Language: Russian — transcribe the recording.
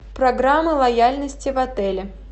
программа лояльности в отеле